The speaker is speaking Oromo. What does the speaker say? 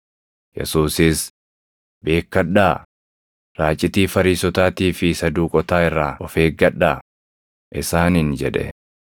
Yesuusis, “Beekkadhaa; raacitii Fariisotaatii fi Saduuqotaa irraa of eeggadhaa” isaaniin jedhe.